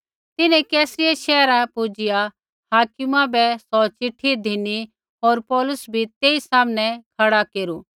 तिन्हैं कैसरिया शैहरा पुजिआ हाकिमा बै सौ चिट्ठी धिनी होर पौलुस बी तेई सामनै खड़ा केरू